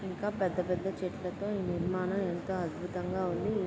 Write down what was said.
పెద్ద పెద్ద చెట్లతో ఈ నిర్మాణం ఎంతో అద్భుతంగా ఉంది. ఈ --